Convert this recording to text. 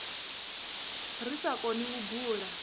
ri sa koni u bula